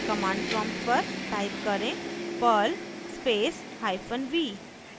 command prompt पर type करें perl space hyphen v